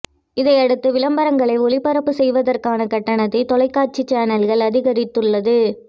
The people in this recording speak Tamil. இதையடுத்து விளம்பரங்களை ஒளிபரப்புச் செய்வதற்கான கட்டணத்தை தொலைக்காட்சி சேனல்கள் அதிகரித்துள்ளது